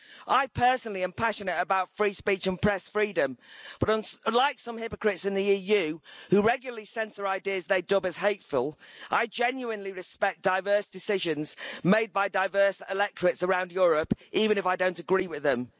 I personally am passionate about free speech and press freedom, but unlike some hypocrites in the EU who regularly censor ideas they dub as hateful, I genuinely respect diverse decisions made by diverse electorates around Europe, even if I don't agree with them.